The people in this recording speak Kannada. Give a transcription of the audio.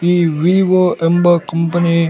ಈ ವಿವೊ ಎಂಬ ಕಂಪನಿ --